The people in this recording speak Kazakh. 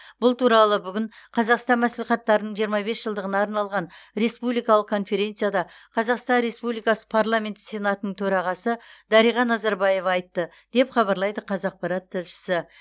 бұл туралы бүгін қазақстан мәслихаттарының жиырма бес жылдығына арналған республикалық конференцияда қазақстан республикасы парламенті сенатының төрағасы дариға назарбаева айтты деп хабарлайды қазақпарат тілшісі